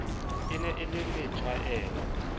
e ne e le methwaela